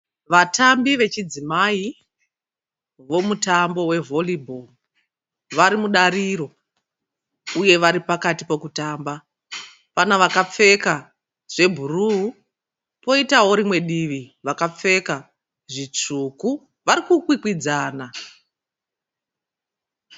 Vatambi vechidzimai vomutambo we volleyball. Vari mudariro uye vari pakati pekutamba. Pane vakapfeka zvebhuruu poitawo rimwe divi vakapfeka zvitsvuku. Vari kukwikwidzana.